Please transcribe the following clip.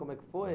Como é que foi?